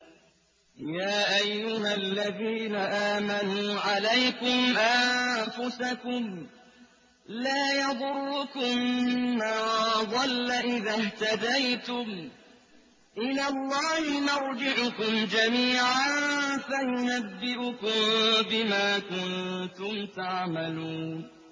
يَا أَيُّهَا الَّذِينَ آمَنُوا عَلَيْكُمْ أَنفُسَكُمْ ۖ لَا يَضُرُّكُم مَّن ضَلَّ إِذَا اهْتَدَيْتُمْ ۚ إِلَى اللَّهِ مَرْجِعُكُمْ جَمِيعًا فَيُنَبِّئُكُم بِمَا كُنتُمْ تَعْمَلُونَ